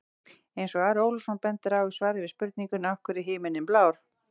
Eins og Ari Ólafsson bendir á í svari við spurningunni Af hverju er himinninn blár?